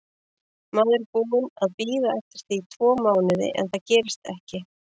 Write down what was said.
Maður er búinn að bíða eftir því tvo mánuði en það gerist ekki.